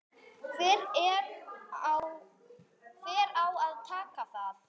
Hver á að taka það?